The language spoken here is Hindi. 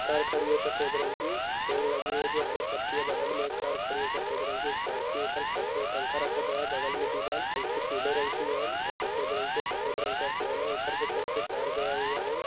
कार खड़ी है सफ़ेद रंग की पेड़ लगे हुए है जो हरे पत्तियाँ बगल में एक कार खड़ी है सफ़ेद रंग की और इस स्कॉर्पियो पर छत पे टंका रखा गया है बगल में दीवाल हल्के पीले रंग की है और सफ़ेद रंग की है और ऊपर के साइड से तार गया हुआ है।